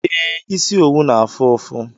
Ee, isi owu n'afu ufu